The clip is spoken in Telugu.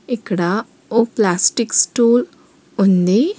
ఇక్కడ ఓ ప్లాస్టిక్ స్టూల్ ఉంది.